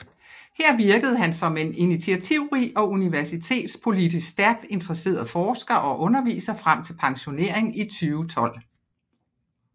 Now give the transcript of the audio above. Her virkede han som en initiativrig og universitetspolitisk stærkt interesseret forsker og underviser frem til pensionering i 2012